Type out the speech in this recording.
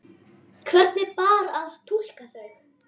Hvernig bar að túlka þau?